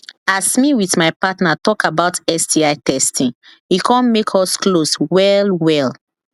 as me with my partner talk about sti testing e come make us close well well